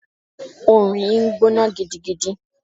Òòrùn yìí ń gbóná gidigidi.